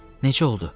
Neçə oldu?